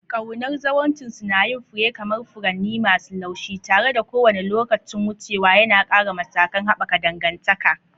Ƙaunar zawarcinsu na yin fure kamar furanni masu laushi, tare da kowane lokacin wucewa yana ƙara matakan haɓaka dangantaka.